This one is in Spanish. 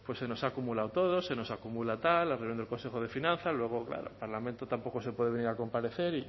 se nos ha acumulado todo se nos acumula tal la reunión del consejo de finanzas luego claro al parlamento tampoco se puede venir a comparecer